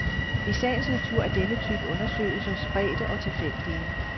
I sagens natur er denne type undersøgelser spredte og tilfældige.